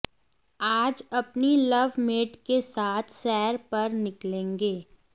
आज अपनी लवमेट के साथ सैर पर निकलेंगे